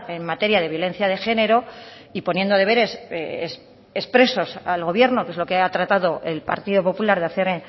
en materia de violencia de género y poniendo deberes expresos al gobierno que es lo que ha tratado el partido popular de hacer